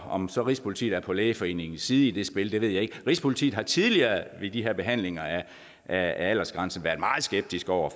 om så rigspolitiet er på lægeforeningens side i det spil ved jeg ikke rigspolitiet har tidligere ved de her behandlinger af aldersgrænser været meget skeptiske over